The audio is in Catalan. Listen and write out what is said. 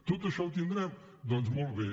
tot això ho tindrem doncs molt bé